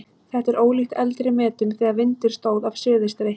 Þetta er ólíkt eldri metum þegar vindur stóð af suðaustri.